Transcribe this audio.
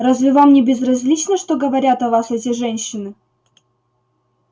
разве вам не безразлично что говорят о вас эти женщины